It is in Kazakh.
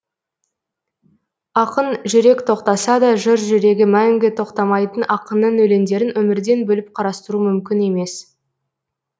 ақын жүрек тоқтаса да жыр жүрегі мәңгі тоқтамайтын ақынның өлеңдерін өмірден бөліп қарастыру мүмкін емес